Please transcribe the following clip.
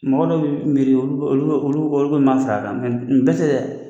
Mɔgɔ dɔ bɛ miri olu olu olu kɔni ma fara kan mɛ bɛsɛ